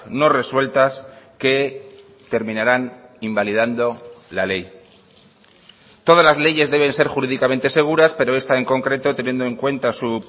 no resueltas que terminarán invalidando la ley todas las leyes deben ser jurídicamente seguras pero esta en concreto teniendo en cuenta su